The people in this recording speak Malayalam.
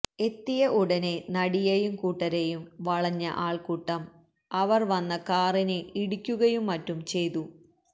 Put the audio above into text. എത്തിയ ഉടനെ നടിയെയും കൂട്ടരെയും വളഞ്ഞ ആള്ക്കൂട്ടം അവര് വന്ന കാറിനെ ഇടിക്കുകയും മറ്റും ചെയ്തു